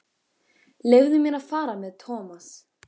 Leyfðu mér að fara með Thomas.